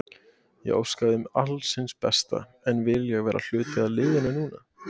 Ég óska þeim alls hins besta en vil ég vera hluti af liðinu núna?